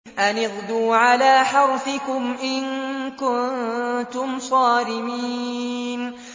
أَنِ اغْدُوا عَلَىٰ حَرْثِكُمْ إِن كُنتُمْ صَارِمِينَ